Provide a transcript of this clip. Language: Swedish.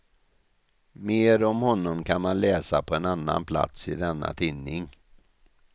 Mer om honom kan man läsa på annan plats i denna tidning.